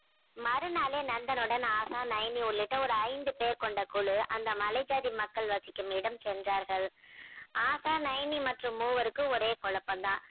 மறுநாளே நந்தனுடன் ஆசா நயனி உள்ளிட்ட ஒரு ஐந்து பேர் கொண்ட குழு அந்த மலை ஜாதி மக்கள் வசிக்கும் இடம் சென்றார்கள். ஆசா நயனி மற்றும் மூவருக்கும் ஒரே குழப்பம் தான்.